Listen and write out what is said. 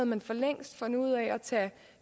man for længst fundet ud af at tage